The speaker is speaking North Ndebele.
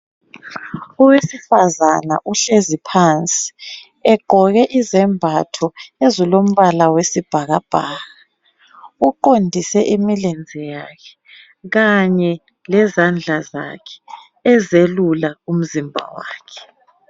Owesifana uhlezi phansi egqoke izembatho ezilombala wesibhakabhaka. Uqondise imilenze yakhe kanye le zandla zakhe ezelula umzimba wakhe.